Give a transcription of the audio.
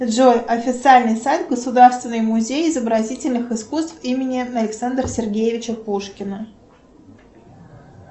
джой официальный сайт государственный музей изобразительных искусств имени александра сергеевича пушкина